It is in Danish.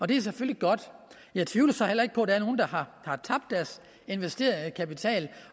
det er selvfølgelig godt jeg tvivler så heller ikke på at der er nogle der har tabt deres investerede kapital